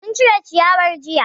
Mun cire ciyawan jiya